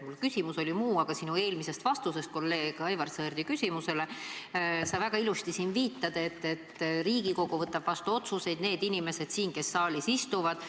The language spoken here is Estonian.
Mu küsimus oli muu, aga oma eelmises vastuses kolleeg Aivar Sõerdi küsimusele sa väga ilusti siin viitasid, et Riigikogu võtab vastu otsuseid – need inimesed, kes siin saalis istuvad.